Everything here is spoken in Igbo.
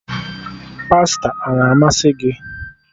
Pasta a na-amasị gị?